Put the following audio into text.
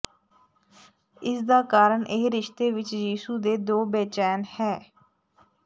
ਇਸ ਦਾ ਕਾਰਨ ਇਹ ਰਿਸ਼ਤੇ ਵਿੱਚ ਯਿਸੂ ਦੇ ਦੋ ਬੇਚੈਨ ਹੈ